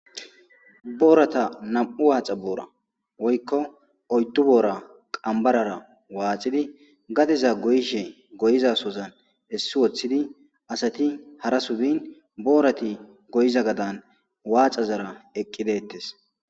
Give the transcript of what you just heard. boorata nam7u waaxa boora woykko oydu boora qambarara waaxidi gadiza goyishe goyizasozan essi woththidi asati hara subin boorati goyiza gadan waacazara eqqidettes